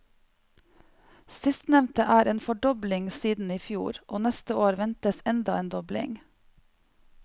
Sistnevnte er en fordobling siden i fjor, og neste år ventes enda en dobling.